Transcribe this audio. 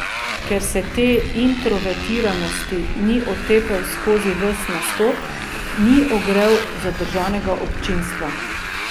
Ker se te introvertiranosti ni otepel skozi ves nastop, ni ogrel zadržanega občinstva.